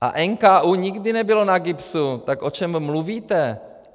A NKÚ nikdy nebyl na GIBS, tak o čem mluvíte?